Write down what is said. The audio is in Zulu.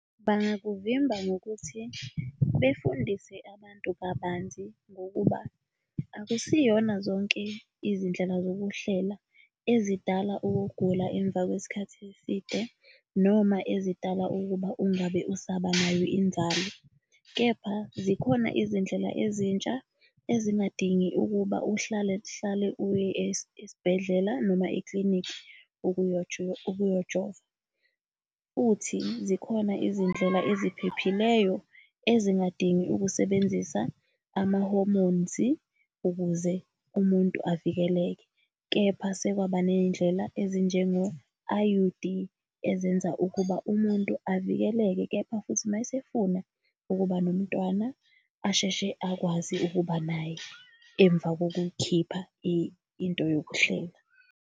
Bangakuvimba ngokuthi befundise abantu kabanzi, ngokuba akusiyona zonke izindlela zokuhlela ezidala ukugula emva kwesikhathi eside noma ezidala ukuba ungabe usaba nayo inzalo. Kepha zikhona izindlela ezintsha ezingadingi ukuba uhlale uhlale uye esibhedlela noma ekilinikhi ukuyojova. Futhi zikhona izindlela eziphephileyo ezingadingi ukusebenzisa amahomonzi ukuze umuntu avikeleke. Kepha sekwaba ney'ndlela ezinjengo-I_U_D, ezenza ukuba umuntu avikeleke. Kepha futhi, uma esefuna ukuba nomntwana asheshe akwazi ukuba naye emva kokukhipha into yokuhlela.